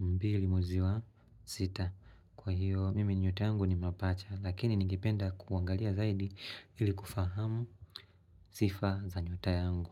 22 mwezi wa sita Kwa hiyo mimi nyota yangu ni mapacha lakini ningependa kuangalia zaidi ili kufahamu sifa za nyota yangu.